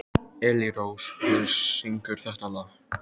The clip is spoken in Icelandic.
Elírós, hver syngur þetta lag?